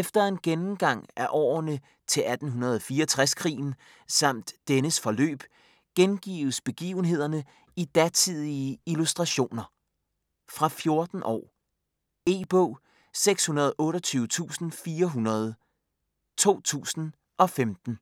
Efter en gennemgang af årsagerne til 1864-krigen samt dennes forløb gengives begivenhederne i datidige illustrationer. Fra 14 år. E-bog 628400 2015.